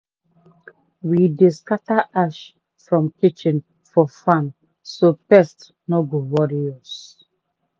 we dey scatter ash from kitchen for farm so pest no go worry us.